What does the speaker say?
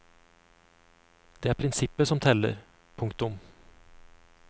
Det er prinsippet som teller. punktum